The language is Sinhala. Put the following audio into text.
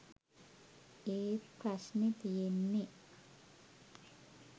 ඒත් ප්‍රශ්නෙ තියෙන්නෙ